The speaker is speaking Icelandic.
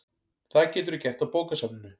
Það geturðu gert á bókasafninu